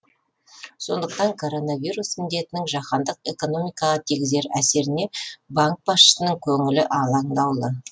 сондықтан коронавирус індетінің жаһандық экономикаға тигізер әсеріне банк басшысының көңілі алаңдаулы